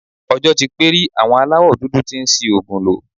Ọjọ́ tí pé rí àwọn aláwọ̀ dúdú tí ń ṣi òògùn lò